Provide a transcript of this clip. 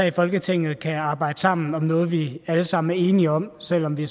i folketinget kan arbejde sammen om noget vi alle sammen er enige om selv om vi